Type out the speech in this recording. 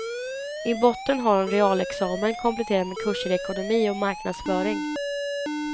I botten har hon realexamen kompletterad med kurser i ekonomi och marknadsföring.